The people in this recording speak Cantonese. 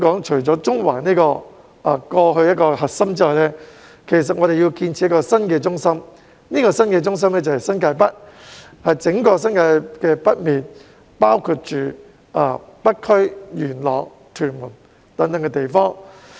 除了中環這個過去的核心之外，香港還要建設一個新的中心，就是新界北，即整個新界北面，包括北區、元朗、屯門等地。